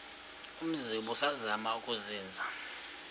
umzi ubusazema ukuzinza